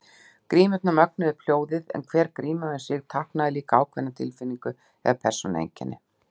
Grímurnar mögnuðu upp hljóðið en hver gríma um sig táknaði líka ákveðna tilfinningu eða persónueinkenni.